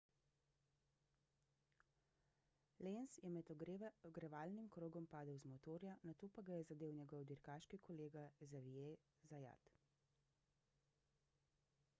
lenz je med ogrevalnim krogom padel z motorja nato pa ga je zadel njegov dirkaški kolega xavier zayat